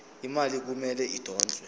imali kumele idonswe